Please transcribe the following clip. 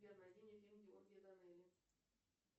сбер найди мне фильм георгия данелия